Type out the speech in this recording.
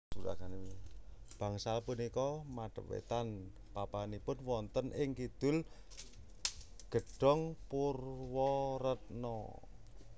Bangsal punika madep wétan papanipun wonten ing Kidul Gedhong Purwaretna